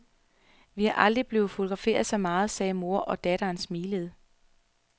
Vi er aldrig blevet fotograferet så meget, sagde mor og datter smilende.